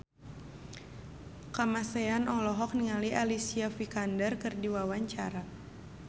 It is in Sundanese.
Kamasean olohok ningali Alicia Vikander keur diwawancara